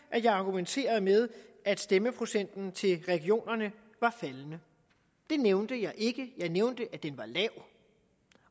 at jeg argumenterer med at stemmeprocenten til regionerne er faldende det nævnte jeg ikke jeg nævnte at den var lav